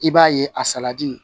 I b'a ye a